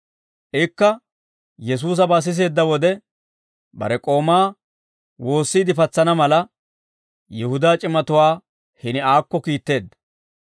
Ikka Yesuusabaa siseedda wode, bare k'oomaa woossiide patsana mala Yihudaa c'imatuwaa hini aakko kiitteedda.